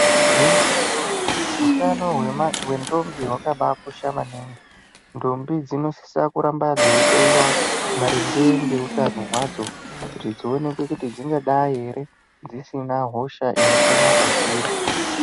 Igwinyiso hutano hwendombi hwakabakosha maningi ndombi dzinosiso ramba dzeihloyiwa maringe ngeutano hwadzo kuti dzioneke kuti dzingadai here dzisina hosha inopona padziri .